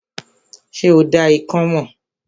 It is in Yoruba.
Ṣé o dá ikán mọ̀?